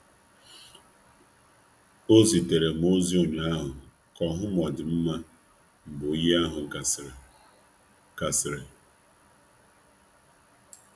Ọ zitere m ozi echi gara a ga ka ọ chọpụta otu m di ka oyi jibu m aka kwusiri.